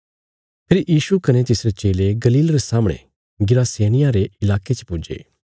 फेरी यीशु कने तिसरे चेले गलील रे सामणे गिरासेनियों रे इलाके च पुज्जे